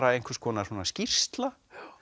einhvers konar skýrsla